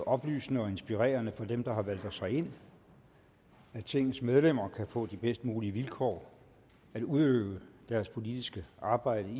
oplysende og inspirerende for dem der har valgt os herind at tingets medlemmer kan få de bedst mulige vilkår at udøve deres politiske arbejde